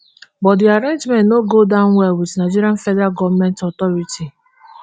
but di arrangement no go down well wit nigerian federal goment authorities